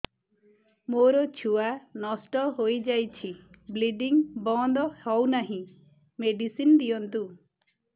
ମୋର ଛୁଆ ନଷ୍ଟ ହୋଇଯାଇଛି ବ୍ଲିଡ଼ିଙ୍ଗ ବନ୍ଦ ହଉନାହିଁ ମେଡିସିନ ଦିଅନ୍ତୁ